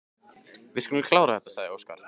Við skulum klára þetta, sagði Óskar.